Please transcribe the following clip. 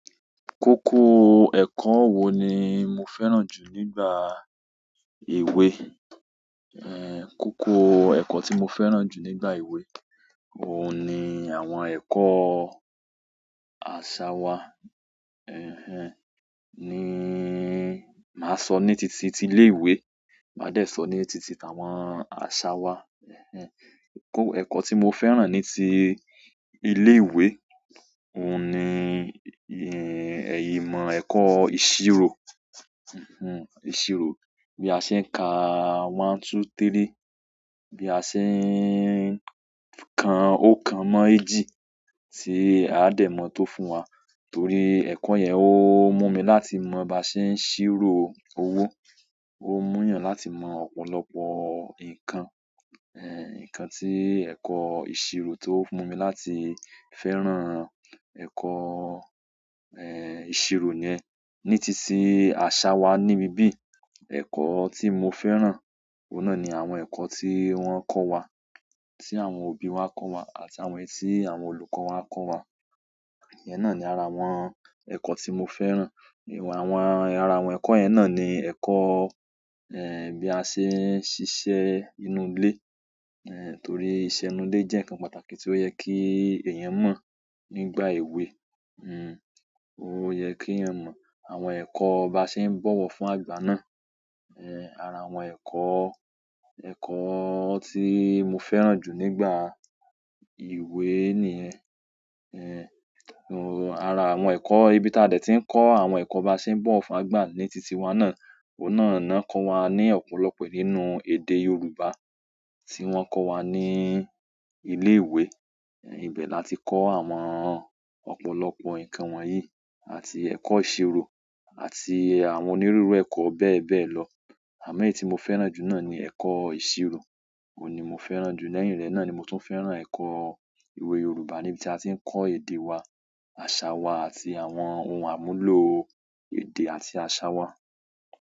Kókó ẹ̀kọ́ wo ni mo fẹ́ràn jù nígbà èwe? Kókó ẹ̀kọ́ tí mo fẹ́ràn jù nígbà ìwé, òun ni àwọn ẹ̀kọ́ àṣà wa, ẹhn en, ni maa so ni titi ti ile ìwé, ma de so ni titi tawon asa waa, eko ti mo fẹ́ràn ni ti ile ìwé, ohun ni ìmọ̀ eko ìṣirò bí a ṣe ń ka one two three, bí a ṣe ń kan oókan mọ́ èjì tí ao dẹ́ mọ̀ oun tó fúnwa, torí ẹ̀kọ́ yẹn ó mú mi láti mọ bí a ṣe ń ṣírò owó. Ó mú ìyàn láti mọ ọ̀pọ̀lọpọ̀ nǹkan. Eh, ǹkan tí ẹ̀kọ́ ìṣirò tó mú mi láti fẹ́ràn ẹ̀kọ́, ìṣirò yẹn. Ní titi àṣà wa níbi bí, ẹ̀kọ́ tí mo fẹ́ràn, òun náà ni àwọn ẹ̀kọ́ tí wọ́n kọ́ wa, tí àwọn òbí wa kọ́ wa àti àwọn èyí tí àwọn olùkọ́ wa kọ́ wa. Ìyẹn náà ni ara àwọn ẹ̀kọ́ tí mo fẹ́ràn. Àwọn, ara àwọn ẹ̀kọ́ yẹn náà ni ẹ̀kọ́, bí a ṣe ń ṣiṣẹ́ inú ilé. Torí ìṣe inú ilé jẹ́ ǹkan pàtàkì tí ó yẹ kí èèyàn mọ̀ nígbà èwe. Ó yẹ kí eeyàn mọ̀, àwọn ẹ̀kọ́ ba ṣe ń bọ̀wọ̀ fún àgbà náà. Ara àwọn ẹ̀kọ́, ẹ̀kọ́ tí mo fẹ́ràn jù nígbà ìwé nìyẹn. Ara àwọn ẹ̀kọ́ ibi tí a de ti ń kọ́ àwọn ẹ̀kọ́ ba ṣe ń bọ̀wo fún àgbà ní titi wa náà, òun náà ná kọ́ wa ní ọ̀pọ̀lọpọ̀ nínú èdè Yorùbá tí wọ́n kọ́ wa ní ilé ìwé. Ibẹ̀ láti kọ́ àwọn ọ̀pọ̀lọpọ̀ nǹkan wọ̀nyí àti ẹ̀kọ́ ìṣirò àti àwọn onírúurú ẹ̀kọ́ bẹ́ẹ̀ bẹ́ẹ̀ lọ. Àmọ́ èyí tí mo fẹ́ràn jù náà ni ẹ̀kọ́ ìṣirò. Òun ni mo fẹ́ràn jù. Lẹ́yìn rẹ̀ náà ni mo tún fẹ́ràn ẹ̀kọ́ ìwé Yorùbá níbi tí a ti ń kọ́ èdè wa, àṣà wa àti àwọn ohun àmúlò èdè àti àṣà wa.